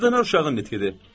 Südağac uşağı gətirin!